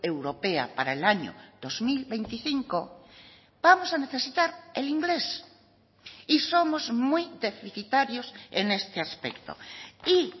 europea para el año dos mil veinticinco vamos a necesitar el inglés y somos muy deficitarios en este aspecto y